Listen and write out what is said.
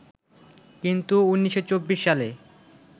কিন্তু ১৯২৪ সালে